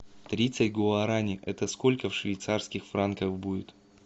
тридцать гуарани это сколько в швейцарских франках будет